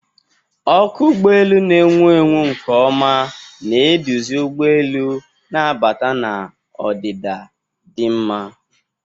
Ọkụ ụgbọ elu na-enwu nke ọma, na-eduzi ụgbọ elu na-abata na ọdịda dị mma.